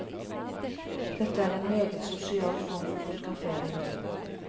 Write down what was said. Dette er en meget sosial form for fotografering.